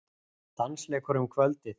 Dansleikur um kvöldið.